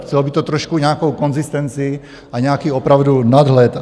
Chtělo by to trošku nějakou konzistenci a nějaký opravdu nadhled.